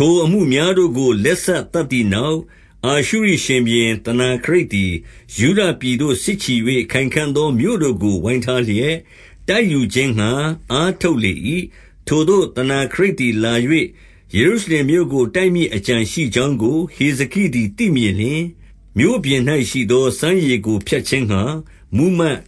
ထိုအမှုများတို့ကို လက်စသတ်သည်နောက်၊ အာရှုရိရှင်ဘုရင် သနာခရိပ်သည်၊ ယုဒပြည်သို့စစ်ချီ၍ ခိုင်ခံ့သောမြို့တို့ကို ဝိုင်းထားလျက် တိုက်ယူခြင်းငှါ အားထုတ်လေ၏။ 2 ထိုသို့ သနာခရိပ်သည်လာ၍၊ ယေရုရှလင်မြို့ကို တိုက်မည့်အကြံရှိကြောင်းကို၊ ဟေဇကိသည်သိမြင်လျှင်၊ 3 မြို့ပြင်၌ရှိသော စမ်းရေကိုဖြတ်ခြင်းငှါ မှူးမတ်၊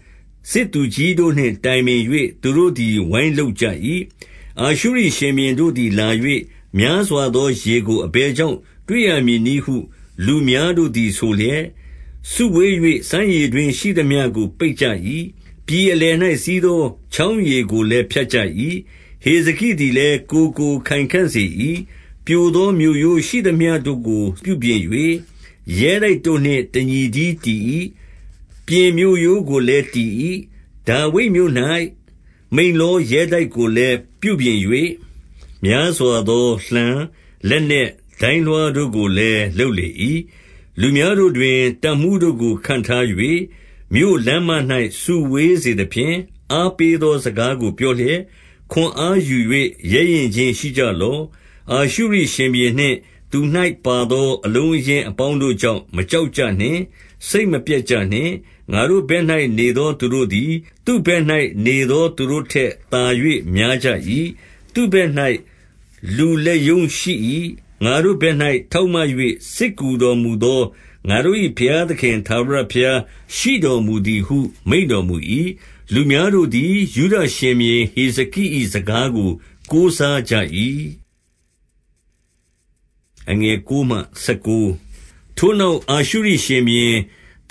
စစ်သူကြီးတို့နှင့် တိုင်ပင်၍။ သူတို့သည် ဝိုင်းလုပ်ကြ၏။ 4 အာရှုရိရှင်ဘုရင်တို့သည် လာ၍၊ များစွာသော ရေကို အဘယ်ကြောင့်တွေ့ရမည်နည်းဟု လူများတို့သည် ဆိုလျက်၊ စုဝေး၍ စမ်းရေတွင်းရှိသမျှကို ပိတ်ကြ၏။ ပြည်အလယ်၌ စီးသောချောင်းရေကိုလည်း ဖြတ်ကြ၏။ 5 ဟေဇကိသည်လည်း ကိုယ်ကို ခိုင်ခံ့စေ၏။ ပြိုသောမြို့ရိုးရှိသမျှကို ပြုပြင်၍၊ ရဲတိုက်တို့နှင့် တညီတည်း တည်၏။ ပြင်မြို့ရိုးကိုလည်း တည်၏။ ဒါဝိဒ်မြို့၌ မိလ္လော ရဲတိုက်ကိုလည်း ပြုပြင်၍၊များစွာသော လှံလက်နက်ဒိုင်း လွှားတို့ကိုလည်း လုပ်လေ၏။ 6 လူများတို့တွင် တပ်မှူးတို့ကိုခန့်ထား၍၊ မြို့ လမ်းမ၌ စုဝေးစေသဖြင့်၊ အားပေးသော စကားကို ပြောလျက်၊ 7 ခွန်အားယူ၍ ရဲရင့်ခြင်းရှိကြလော့။ အာရှုရိ ရှင်ဘုရင်နှင့် သူ၌ပါသောအလုံးအရင်း အပေါင်းတို့ ကြောင့် မကြောက်ကြနှင့်။ စိတ်မပျက်ကြနှင့်။ ငါတို့ ဘက်၌နေသော သူတို့သည်၊ သူ့ဘက်၌ နေသောသူတို့ထက်သာ၍ များကြ၏။ 8 သူ့ဘက်၌ လူလက်ရုံးရှိ၏။ ငါတို့ဘက်၌ ထောက်မ၍၊ စစ်ကူတော်မူသော ငါတို့၏ဘုရားသခင် ထာဝရဘုရားရှိတော်မူသည်ဟု မိန့်တော်မူ၏။ လူများတို့ သည် ယုဒရှင်ဘုရင်ဟေဇကိ၏ စကားကိုကိုးစား ကြ၏။ 9 ထိုနောက် အာရှုရိရှင်ဘုရင်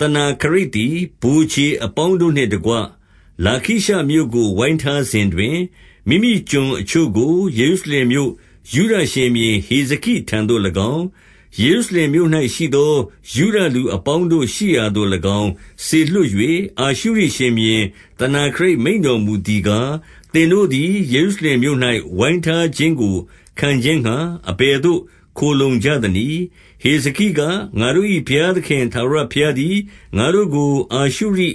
သနာခရိပ်သည် ဗိုလ်ခြေအပေါင်းတို့နှင့်တကွ၊ လာခရှမြို့ကိုဝိုင်ထားစဉ် တွင်၊ မိမိကျွန်အချို့ကို ယေရုရှလင်မြို့၊ ယုဒရှင်ဘုရင် ဟေဇကိထံသို့၎င်း၊ ယေရုရှလင်မြို့၌ရှိသော ယုဒ လူအပေါင်းတို့ရှိရာသို့၎င်း စေလွှတ်၍၊ 10 အာရှုရိရှင်ဘုရင်သနာခရိပ် မိန့်တော်မူသည် ကား၊ သင်တို့သည် ယေရုရှလင်မြို့၌ ဝိုင်းထားခြင်းကို ခံခြင်းငှါ၊ အဘယ်သို့ခိုလှုံကြသနည်း။ 11 ဟေဇကိက၊ ငါတို့၏ဘုရားသခင် ထာဝရ ဘုရားသည် ငါတို့ကို အာရှုရိ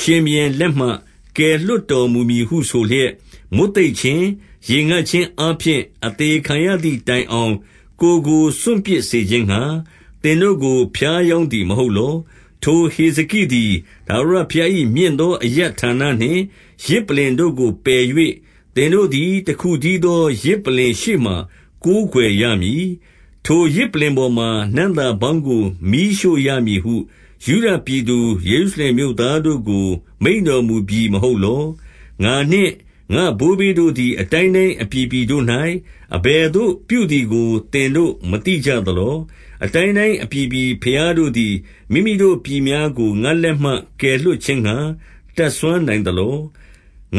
ရှင်ဘုရင်လက်မှ ကယ်လွှတ် တော်မူမည်ဟုဆိုလျက်၊ မွတ်သိပ်ခြင်း၊ ရေငတ်ခြင်း အားဖြင့် အသေခံရသည်တိုင်အောင်၊ ကိုယ်ကိုစွန့်ပစ်စေ ခြင်းငှါ၊ သင်တို့ကို ဖြားယောင်းသည်မဟုတ်လော။ 12 ထိုဟေဇကိသည် ထာဝရဘုရား၏ မြင့်သော အရပ်ဌာနနှင့် ယဇ်ပလ္လင်တို့ကို ပယ်၍၊ သင်တို့သည် တခုတည်းသော ယဇ်ပလ္လင် ရှေ့မှာကိုးကွယ်ရမည်။ ထိုယဇ် ပလ္လင်ပေါ်မှာ နံ့သာပေါင်းကို မီးရှို့ရမည်ဟု ယုဒပြည်သူ ယေရုရှလင်မြို့ သားတို့ကို မိန့်တော်မူပြီမဟုတ်လော။ 13 ငါနှင့် ငါ့ဘိုးဘေးတို့သည် အတိုင်းတိုင်းအပြည် ပြည်တို့၌ အဘယ်သို့ပြုသည်ကို သင်တို့မသိကြသလော။ အတိုင်းတိုင်းအပြည်ပြည် ဘုရားတို့သည် မိမိတို့ပြည် များကို ငါ့လက်မှ ကယ်လွှတ်ခြင်းငှါ တတ်စွမ်းနိုင် သလော။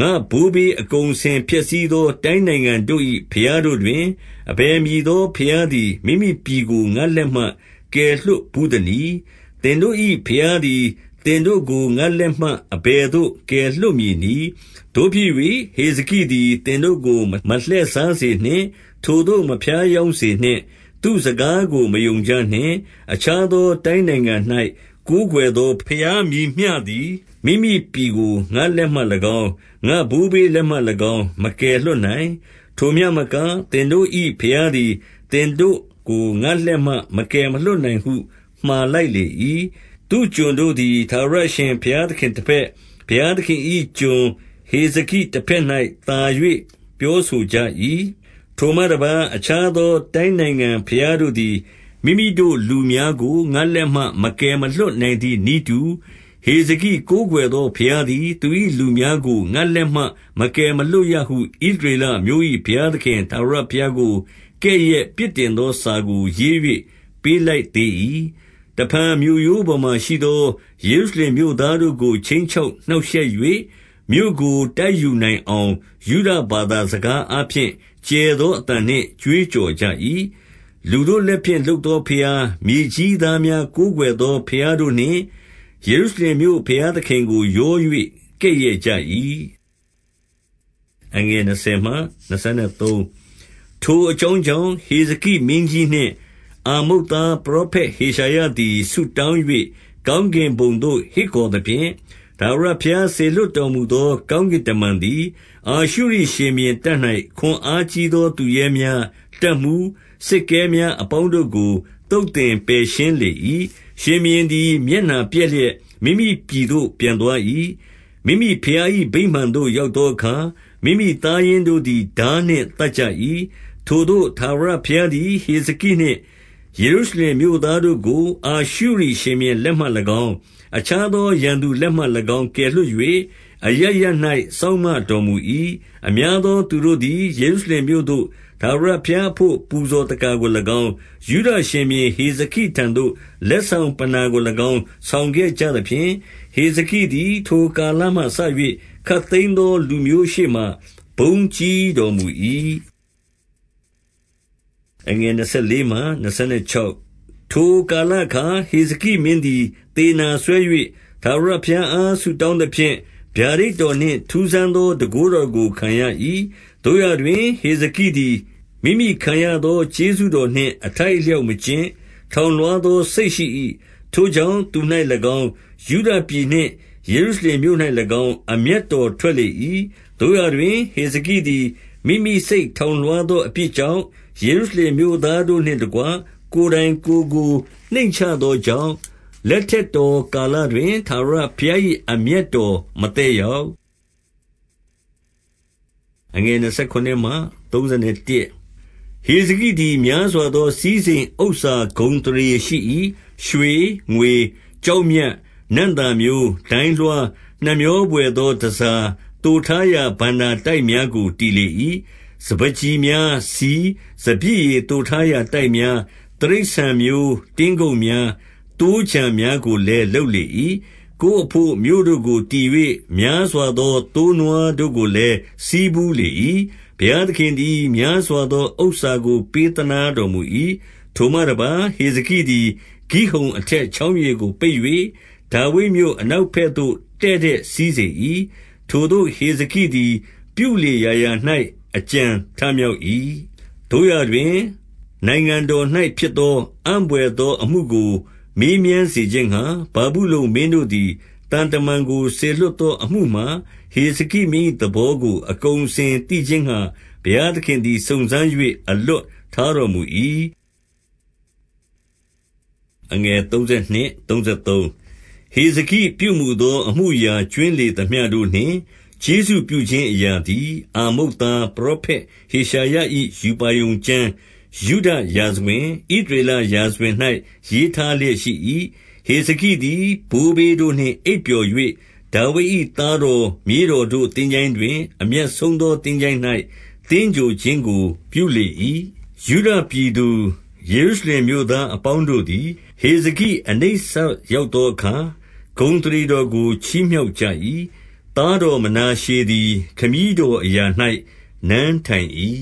14 ငါ့ဘိုးဘေးအကုန်အစင်ဖျက်ဆီးသော တိုင်း နိုင်ငံတို့၏ ဘုရားတို့တွင်၊ အဘယ်မည်သောဘုရားသည် မိမိပြည်ကို ငါ့လက်မှ ကယ်လွှတ်ဘူးသနည်း။ သင်တို့၏ ဘုရားသည် သင်တို့ကိုငါ့လက်မှ အဘယ်သို့ကယ်လွှတ် မည်နည်း။ 15 သို့ဖြစ်၍၊ ဟေဇကိသည် သင်တို့ကိုမလှည့်စား စေနှင့်။ ထိုသို့ မဖြားယောင်းစေနှင့်။ သူ့စကားကို မယုံကြ နှင့်။ အခြားသော တိုင်းနိုင်ငံ၌ ကိုးကွယ်သော ဘုရား မည်မျှသည်၊ မိမိပြည်ကိုငါ့လက်မှ၎င်း၊ ငါ့ဘိုးဘေး လက်မှ၎င်း မကယ်မလွှတ်နိုင်။ ထိုမျှမက၊ သင်တို့၏ဘုရားသည် သင်တို့ကို ငါ့လက်မှ မကယ်မလွှတ်နိုင်ဟု မှာလိုက်လေ၏။ 16 သူ့ကျွန်တို့သည် ထာဝရအရှင်ဘုရားသခင် တဘက်၊ ဘုရားသခင်၏ကျွန်ဟေဇကိတဘက်၌ သာ၍ ပြောဆိုကြ၏။ 17 ထိုမှတပါး အခြားသော တိုင်းနိုင်ငံဘုရားတို့ သည်၊ မိမိလူများကို ငါ့လက်မှ မကယ်မလွှတ်နိုင်သည် နည်းတူ၊ ဟေဇကိကိုးကွယ်သော ဘုရားသည်၊ သူ၏ လူများကို ငါ့လက်မှ မကယ်မလွှတ်ရဟုဣသရေလအမျိုး ၏ ဘုရားသခင်ထာဝရဘုရားကို ကဲ့ရဲ့ပြစ်တင်သော စာကို ရေး၍ ပေးလိုက်သေး၏။ 18 တဖန်မြို့ရိုးပေါ်မှာရှိသော ယေရုရှလင်မြို့သား တို့ကို ခြိမ်းချောက်နှောက်ရှက်၍၊ မြို့ကိုတိုက်ယူနိုင်အောင်၊ ယုဒဘာသာစကားအားဖြင့် ကျယ်သော အသံနှင့် ကြွေး ကြော်ကြ၏။ 19 လူတို့လက်ဖြင့် လုပ်သောဘုရား၊ မြေကြီးသား များ ကိုးကွယ်သော ဘုရားတို့နှင့် ယေရုရှလင်မြို့ ဘုရား သခင်ကို ရော၍ ကဲ့ရဲ့ကြ၏။ 20 ထိုအကြောင်းကြောင့်၊ ဟေဇကိမင်းကြီးနှင့် အာမုတ်သား ပရောဖက်ဟေရှာယသည် ဆုတောင်း၍၊ ကောင်းကင်ဘုံသို့ ဟစ်ခေါ်သဖြင့်၊ 21 ထာဝရဘုရားစေလွှတ်တော်မူသော ကောင်းကင် တမန်သည်၊ အာရှုရိရှင်ဘုရင်တပ်၌ ခွန်အားကြီးသော သူရဲများ၊ တပ်မှူး၊ စစ်ကဲများအပေါင်းတို့ကို သုတ်သင် ပယ်ရှင်းလေ၏။ ရှင်ဘုရင်သည် မျက်နှာပျက်လျက်၊ မိမိ ပြည်သို့ပြန်သွား၏။ မိမိဘုရား၏ ဗိမာန်သို့ရောက်သော အခါ၊ မိမိသားရင်းတို့သည် ထားနှင့်သတ်ကြ၏။ 22 ထိုသို့ထာဝရဘုရားသည် ဟေဇကိနှင့် ယေရုရှလင်မြို့သားတို့ကို၊ အာရှုရိရှင်ဘုရင်လက်မှ၎င်း၊ အခြားသောရန်သူလက်မှ၎င်း ကယ်လွှတ်၍၊ အရပ်ရပ်၌ စောင့်မတော်မူ၏။ 23 အများသောသူတို့သည် ယေရုရှလင်မြို့သို့ ထာဝဘုရားအဘို့ ပူဇော်သက္ကာကို၎င်း၊ ယုဒရှင်ဘုရင် ဟေဇကိထံသို့ လက်ဆောင်ပဏ္ဏာကို၎င်း ဆောင်ခဲ့ကြ သဖြင့်၊ ဟေဇကိသည် ထိုကာလမှစ၍ ခပ်သိမ်းသောလူ မျိုး ရှေ့မှာဘုန်းကြီးတော်မူ၏။ 24 ထိုကာလအခါ ဟေဇကိမင်းသည် သေနာစွဲ၍ ထာဝရဘုရားအား ဆုတောင်းသဖြင့်၊ ဗျာဒိတ်တော်နှင့် ထူးဆန်းသော တန်ခိုးတော်ကို ခံရ၏။ 25 သို့ရာတွင် ဟေဇကိသည် မိမိခံရသော ကျေးဇူးတော်နှင့် အထိုက်အလျောက်မကျင့်၊ ထောင်လွှား သော စိတ်ရှိ၏။ ထိုကြောင့် သူ၌၎င်း၊ ယုဒပြည်နှင့် ယေရုရှလင်မြို့၌၎င်း၊ အမျက်တော်ထွက်လေ၏။ 26 သို့ရာတွင် ဟေဇကိသည် မိမိစိတ်ထောင်လွှား သော အပြစ်ကြောင့်၊ ယေရုရှလင်မြို့သားတို့နှင့်တကွ ကိုယ်တိုင်ကိုယ်ကို နှိမ့်ချသောကြောင့်၊ လက်ထက်တော် ကာလတွင်၊ ထာဝရဘုရား၏ အမျက်တော်မသက် ရောက်။ 27 ဟေဇကိသည် များစွာသော စည်းစိမ်ဥစ္စာ ဂုဏ် အသရေရှိ ၏။ ရွှေ၊ ငွေ၊ ကျောက်မြတ်၊ နံ့သာမျိုး၊ ဒိုင်းလွှား၊ နှမြောဘွယ်သော တန်ဆာ သိုထားရာဘဏ္ဍာ တိုက်များကို တည်လေ၏။ 28 စပါးကျီများ၊ ဆီ၊ စပျစ်ရည်သိုထားရာ တိုက်များ၊ တိရစ္ဆာန်မျိုး တင်းကုပ်များ၊ သိုးခြံများကိုလည်း လုပ်လေ ၏။ 29 ကိုယ်အဘို့ မြို့တို့ကိုတည်၍၊ များစွာသော သိုးနွား တို့ကိုလည်း ဆည်းဖူးလေ၏။ ဘုရားသခင်သည် များစွာ သောဥစ္စာကို ပေးသနားတော်မူ၏။ 30 ထိုမှတပါး၊ ဟေဇကိသည် ဂိဟုတ်အထက် ချောင်းရေကို ပိတ်၍၊ ဒါဝိဒ်မြို့အနောက်သို့ တည့်တည့် စီးစေ၏။ ထိုသို့ ဟေဇက်သည် ပြုလေရာရာ၌ အကြံ ထမြောက်၏။ 31 သို့ရာတွင်၊ နိုင်ငံတော်၌ ဖြစ်သောအံ့ဘွယ်သော အမှုကို မေးမြန်းစေခြင်းငှါ၊ ဗာဗုလုန်မင်းတို့သည် သံတမန်ကို စေလွှတ်သော အမှုမှာ၊ ဟေဇကိမင်း၏ သဘောကို အကုန်အစင်သိခြင်းငှါ၊ ဘုရားသခင်သည် စုံစမ်း၍အလွတ်ထားတော်မူ၏။ 32 ဟေဇကိပြုမူသော အမှုအရာကြွင်းလေသမျှ တို့နှင့် ကျေးဇူးပြုခြင်းအရာသည် အာမုတ်သား ပရော ဖက်ဟေရှာယ၏ ရူပါရုံကျမ်း၊ ယုဒရာဇဝင်၊ ဣသရေလ ရာဇဝင်၌ ရေးထားလျက် ရှိ၏။ 33 ဟေဇကိသည် ဘိုးဘေးတို့နှင့်အိပ်ပျော်၍၊ ဒါဝိဒ် ၏သားတော် မြေးတော်တို့ သင်္ချိုင်းတွင် အမြတ်ဆုံးသော သင်္ချိုင်း၌ သင်္ဂြိုဟ်ခြင်းကို ပြုလေ၏။ ယုဒပြည်သူ ယေရုရှလင်မြို့သားအပေါင်းတို့သည်၊ ဟေဇကိ အနိစ္စ ရောက်သောအခါ၊ ဂုဏ်အသရေတော်ကို ချီးမြှောက်ကြ ၏။ သားတော်မနာရှေသည် ခမည်းတော်အရာ၌ နန်းထိုင်၏